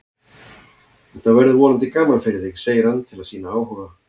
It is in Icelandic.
Þetta verður vonandi gaman fyrir þig, segir hann til að sýna áhuga.